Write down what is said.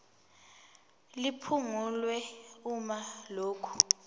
liphungulwe uma lokhu